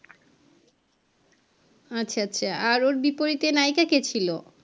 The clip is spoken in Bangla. আচ্ছা আচ্ছা আর ওর বিপরীতে নায়িকা কে ছিল?